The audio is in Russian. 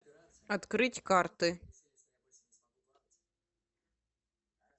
открыть карты